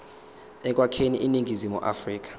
ekwakheni iningizimu afrika